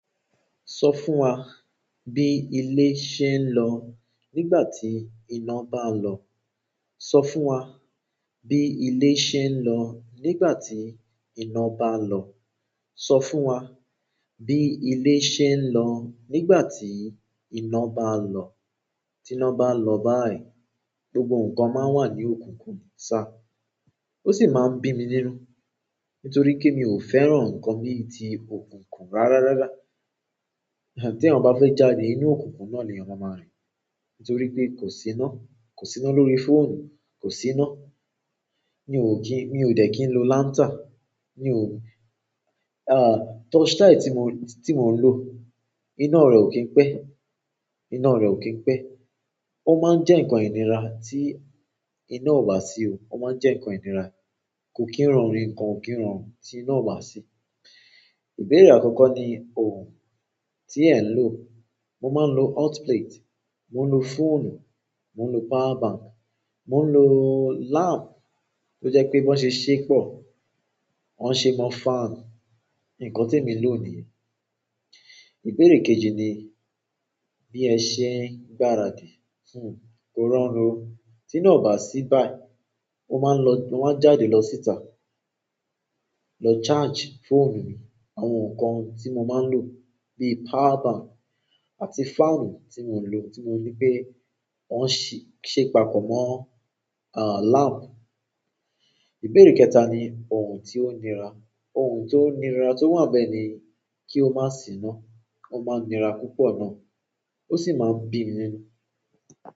Sọ fún wa bí ilé ṣe ń lọ nígbà tí iná bá lọ. Sọ fún wa bí ilé ṣe ń lọ nígbà tí iná bá lọ. Sọ fún wa bí ilé ṣe ń lọ nígbà tí iná bá lọ. Tí iná bá lọ báyìí, gbogbo nǹkan máa ń wà ní òkùnkùn sá. Ó sì máa ń bí mi nínú, nítorí pé mi ò fẹ́ràn nǹkan bí i ti òkùnkùn rárá rará. Ti eyan ba fe jáde, inú okunkun náà nii eyan maa maa rin. Nítorípé kosi ina. Kò sí iná lórí fóònù, kò sí iná. Mi ò kí-- mi ò dẹ̀ kí n lo lántà, mi ò. Torchlight tí mo-- tí mo ń lò, iná rẹ̀ ò kín pẹ́, iná rẹ̀ ò kín pẹ́. Ó máa ń jẹ́ nǹkan ìnira tí iná ò bá sí o. Ó máa ń jẹ́ nǹkan ìnira. Kò kín rọrùn, nǹkan ò kín rọrùn tí iná ò bá sí. Ìbéèrè àkọ́kọ́ ni ohun tí ẹ̀ ń lò. Mo máa ń lo hotplate, mo ń lo fóònù, mo ń lo power bank, mo ń lo láàmpù tó jẹ́ pé bí wọ́n ṣe ṣépọ̀, wọ́n ṣe mọ́ fáànù. Nǹkan tí emi n lò nìyẹn. Ìbéèrè kejì ni bí ẹ ṣe ń gbáradì fún. Kó rọrùn. Tí iná ò bá sí báyìí, mo máa ń lọ-- mo máa ń jáde lọ síta lọ charge fóònù mi àwọn nǹkan tí mo máa ń lò bíi power bank àti fáànù tí mo ń lò. Tí mo ní pé wọ́n ṣe papọ̀ mọ̀, láàmpù. Ìbéèrè kẹta ni ohun tí ó nira. Ohun tó nira tó wà ni bẹ́ẹ̀ ni kí ó má sì iná. Ó máa ń nira púpọ̀ náà. Ó sì máa ń bí mi nínú.